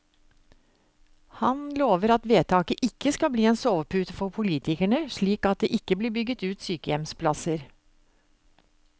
Han lover at vedtaket ikke skal bli en sovepute for politikerne, slik at det ikke blir bygget ut sykehjemsplasser.